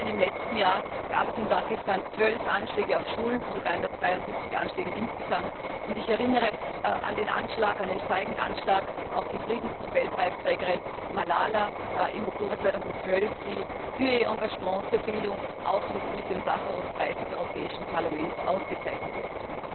Allein im letzten Jahr gab es in Pakistan zwölf Anschläge auf Schulen von 372 Anschlägen insgesamt. Ich erinnere an den feigen Anschlag auf die Friedensnobelpreisträgerin Malala im Oktober 2012, die für ihr Engagement für Bildung auch mit dem Sacharow Preis des Europäischen Parlaments ausgezeichnet wurde.